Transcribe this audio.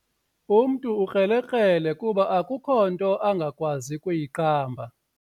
Umntu ukrelekrele kuba akukho nto angakwazi kuyiqamba.